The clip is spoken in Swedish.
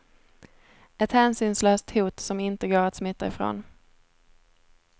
Ett hänsynslöst hot som inte går att smita ifrån.